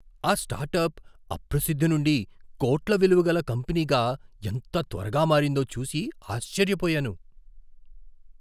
ఆ స్టార్టప్ అప్రసిద్ధి నుండి కోట్ల విలువగల కంపెనీగా ఎంత త్వరగా మారిందో చూసి ఆశ్చర్యపోయాను.